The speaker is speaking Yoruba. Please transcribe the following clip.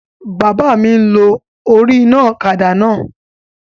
Bàbá mi n lo orí iná ọ̀kadà náà